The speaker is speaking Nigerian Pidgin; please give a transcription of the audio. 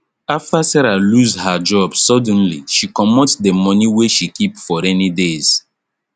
after sarah lose her job suddenly she commot d money wey she keep for rainy days